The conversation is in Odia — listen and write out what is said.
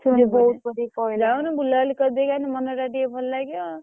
ସିଏ ପୁଣି ବୋଉକୁ କହିଲା ।